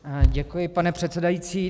Děkuji, pane předsedající.